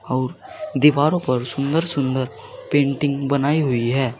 और दीवारों पर सुंदर सुंदर पेंटिंग बनाई हुई है।